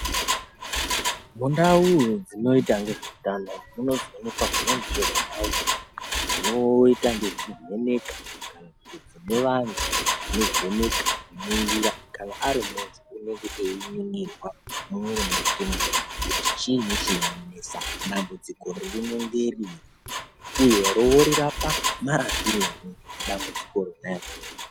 Mundaudzinoita nezveutano dzino zoonekwazve zvimweni zvindau zvinoita nezvekuvheneka kana kuti dzine vantu vanovheneka, kuningira kana ari muntu anenge einingirwa mumwiri makomwo kuti chiini ,dambudziko rakwe ngerenyi uye oriita marapirenyi dambudziko rona iroro.